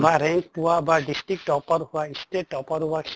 বা rank পোৱা বা district topper হোৱা, state topper হোৱা সেই